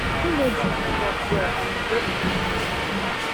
e no do im work well and e go against di people